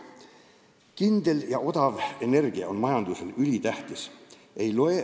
Kindel ja odav energia on majandusele ülitähtis.